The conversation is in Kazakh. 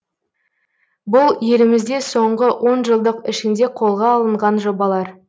бұл елімізде соңғы онжылдық ішінде қолға алынған жобалар